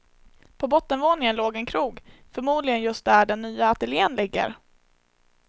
På bottenvåningen låg en krog, förmodligen just där den nya ateljen ligger.